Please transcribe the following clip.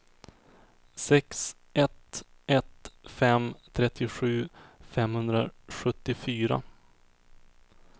sex ett ett fem trettiosju femhundrasjuttiofyra